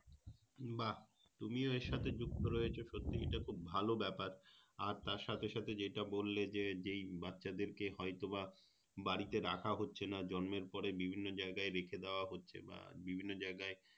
বাহ তুমিও এর সাথে যুক্ত রয়েছো সত্যি এটা খুব ভালো ব্যাপার আর তার সাথে সাথে যেটা বললে যে যেই বাচ্চাদের কে হয়তো বা বাড়িতে রাখা হচ্ছেনা জন্মের পরেই বিভিন্ন জায়গায় রেখে দেওয়া হচ্ছে বা বিভিন্ন জায়গায়